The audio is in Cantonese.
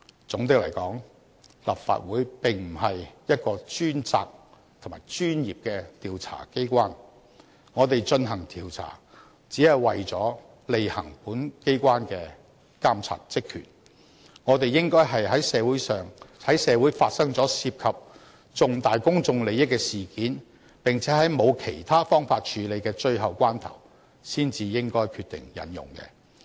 總的來說，立法會並不是一個專責及專業的調查機構，我們進行調查，只是為了履行本機關的監察職權，我們應該在社會發生了涉及重大公眾利益的事件，並且在沒有其他方法處理的最後關頭才決定引用。